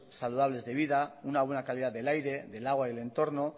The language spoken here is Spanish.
saludables de vida una buena calidad del aire del agua y el entorno